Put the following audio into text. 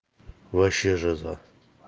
вообще жиза